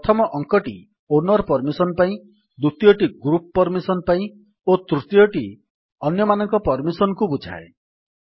ପ୍ରଥମ ଅଙ୍କଟି owner permission ପାଇଁ ଦ୍ୱିତୀୟଟି ଗ୍ରୁପ୍ ପର୍ମିସନ୍ ପାଇଁ ଓ ତୃତୀୟଟି ଅନ୍ୟମାନଙ୍କ ପର୍ମିସନ୍ କୁ ବୁଝାଏ